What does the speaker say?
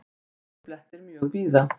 Hálkublettir mjög víða